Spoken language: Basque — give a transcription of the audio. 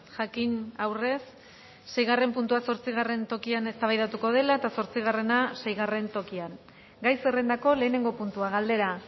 jakin aurrez seigarren puntua zortzigarren tokian eztabaidatuko dela eta zortzigarrena seigarren tokian gai zerrendako lehenengo puntua galdera